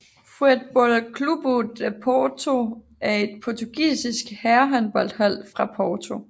Futebol Clube do Porto er et portugisisk herrehåndboldhold fra Porto